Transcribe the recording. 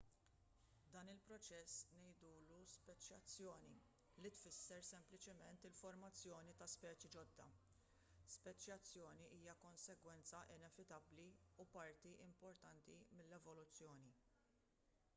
dan il-proċess ngħidulu speċjazzjoni li tfisser sempliċiment il-formazzjoni ta' speċi ġodda speċjazzjoni hija konsegwenza inevitabbli u parti importanti mill-evoluzzjoni